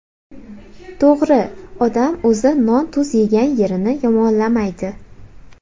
To‘g‘ri, odam o‘zi non-tuz yegan yerini yomonlamaydi.